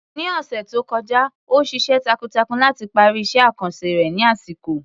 Ní ọ̀sẹ̀ tó kọjá, ó ṣiṣẹ́ takuntakun láti parí iṣẹ́ àkànṣe rẹ̀ ní àsìkò.